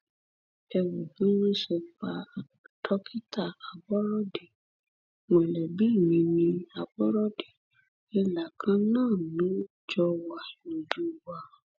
ẹ ẹ wo bí wọn ṣe pa dókítà aborọdé mọlẹbí mi ní àbọrọdé ìlà kan náà ló jọ wà lójú wa